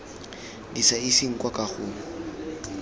di sa iseng kwa kagong